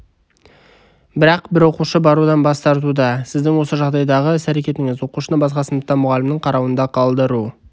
бірақ бір оқушы барудан бас тартуда сіздің осы жағдайдағы іс-әрекетіңіз оқушыны басқа сыныпта мұғалімнің қарауында қалдыру